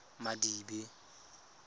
madibe